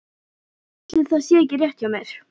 En ætli það sé ekki rétt hjá mér.